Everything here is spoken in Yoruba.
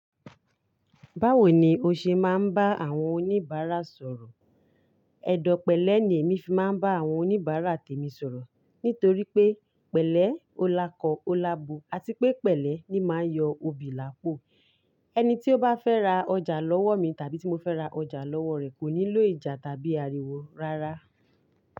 Báwo ni o ṣe máa ń bá àwọn oníbàárà sọ̀rọ̀? Ẹ̀dọ̀pẹlẹ́ ni èmi fi máa ń bá àwọn oníbàárà tèmi sọ̀rọ̀. Nítorí pé pẹ̀lẹ́ ó lákọ, ó lábo, àti pé pẹ̀lẹ́ ni máa ń yọ òbí làpọ̀. Ẹni tí ó bá fẹ́ ra ọjà lọ́wọ́ mi tàbí tí mo fẹ́ ra ọjà lọ́wọ́ rẹ̀ kò nílò ìjà tàbí àríwó rárá.